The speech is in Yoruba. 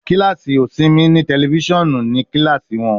Kilasi osinmi ni tẹlifisiọnu ni kilasi wọn